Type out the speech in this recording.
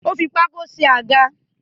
Ó fi pákó náà ṣe àga